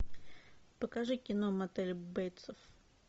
покажи кино мотель бейтса